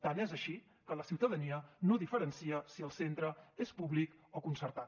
tant és així que la ciutadania no diferencia si el centre és públic o concertat